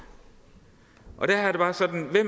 og det